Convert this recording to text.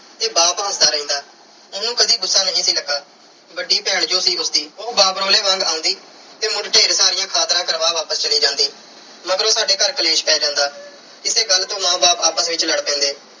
ਤੇ ਬਾਪ ਹੱਸਦਾ ਰਹਿੰਦਾ। ਉਹਨੂੰ ਕਦੇ ਗੁੱਸਾ ਨਹੀਂ ਸੀ ਲੱਗਾ। ਵੱਡੀ ਭੈਣ ਜੋ ਸੀ ਉਸਦੀ। ਉਹ ਬਾਬਰੋਲੇ ਵਾਂਗ ਆਉਂਦੀ ਤੇ ਮੁੜ ਢੇਰ ਸਾਰੀਆਂ ਖਾਤਰਾਂ ਕਰਵਾ ਵਾਪਸ ਚੱਲੀ ਜਾਂਦੀ। ਮਗਰੋਂ ਸਾਡੇ ਘਰ ਕਲੇਸ਼ ਪੈ ਜਾਂਦਾ। ਇਸੇ ਗੱਲ ਤੋਂ ਮਾਂ ਬਾਪ ਆਪਸ ਵਿੱਚ ਲੜ ਪੈਂਦੇ।